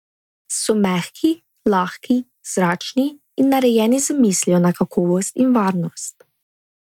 So mehki, lahki, zračni in narejeni z mislijo na kakovost in varnost.